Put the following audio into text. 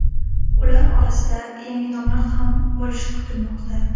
Ular orasida yangi nomlar ham bo‘lishi kutilmoqda.